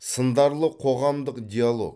сындарлы қоғамдық диалог